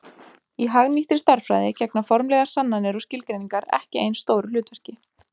í hagnýttri stærðfræði gegna formlegar sannanir og skilgreiningar ekki eins stóru hlutverki